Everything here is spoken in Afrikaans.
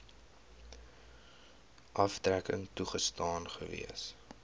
aftrekking toegestaan gewees